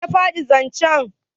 wanene ya faɗi zancen?